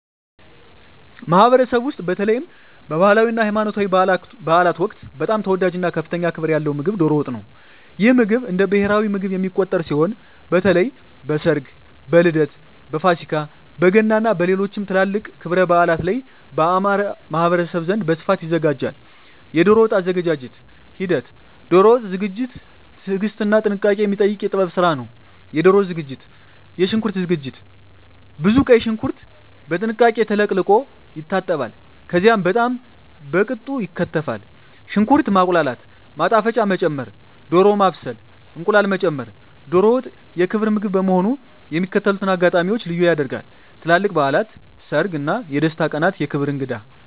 ማኅበረሰብ ውስጥ፣ በተለይም በባህላዊ እና ሃይማኖታዊ በዓላት ወቅት በጣም ተወዳጅ እና ከፍተኛ ክብር ያለው ምግብ ዶሮ ወጥ ነው። ይህ ምግብ እንደ ብሔራዊ ምግብ የሚቆጠር ሲሆን፣ በተለይ በሰርግ፣ በልደት፣ በፋሲካ፣ በገና እና በሌሎችም ትላልቅ ክብረ በዓላት ላይ በአማርኛ ማኅበረሰብ ዘንድ በስፋት ይዘጋጃል። የዶሮ ወጥ አዘገጃጀት ሂደት ዶሮ ወጥ ዝግጅት ትዕግስትና ጥንቃቄ የሚጠይቅ የጥበብ ስራ ነው -የዶሮ ዝግጅት -የሽንኩርት ዝግጅት ብዙ ቀይ ሽንኩርት በጥንቃቄ ተለቅልቆ ይታጠባል፣ ከዚያም በጣም በቅጡ ይከተፋል። -ሽንኩርት ማቁላላት -ማጣፈጫ መጨመር -ዶሮ ማብሰል -እንቁላል መጨመር ዶሮ ወጥ የክብር ምግብ በመሆኑ የሚከተሉትን አጋጣሚዎች ልዩ ያደርጋል -ትላልቅ በዓላት -ሰርግ እና የደስታ ቀናት -የክብር እንግዳ